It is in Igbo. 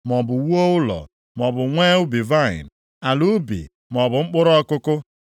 maọbụ wuo ụlọ, maọbụ nwee ubi vaịnị, ala ubi maọbụ mkpụrụ ọkụkụ.